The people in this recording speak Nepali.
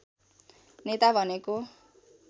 नेता भनेको